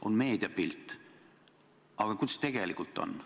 On meediapilt, aga kuidas tegelikult on?